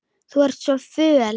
Þú ert svo föl.